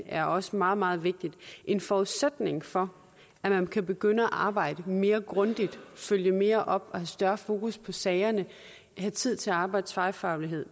er også meget meget vigtigt en forudsætning for at man kan begynde at arbejde mere grundigt følge mere op have større fokus på sagerne og have tid til at arbejde tværfagligt